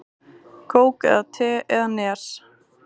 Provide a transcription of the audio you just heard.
Kók eða te eða Nes?